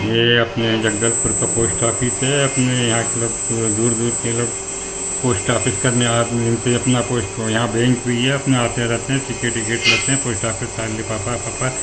ये अपने जगदलपुर का पोस्ट ऑफिस है अपने यहाँ के लोग दूर दूर के लोग पोस्ट ऑफिस करने आ अपना पोस्ट यहाँ पे बैंक भी हैअपना आते रहते हैं टिकिट विकिट लेते है पोस्ट ऑफिस का लिफाफा विफाफा--